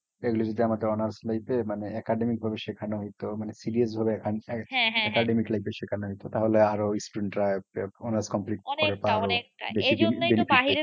এগুলি যদি আমাদের honors লইতে মানে academic ভাবে শেখানো হইতো। মানে serious ভাবে academiclife এ শেখানো হইতো তাহলে আরো student রা honors complete ভাবে আরো বেশিদিন benefit পেতো।